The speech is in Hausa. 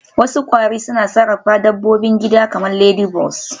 Wasu kwari suna sarrafa dabbobin gida kamar ladybugs